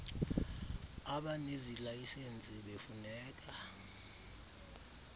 abanezi layisensi befuneka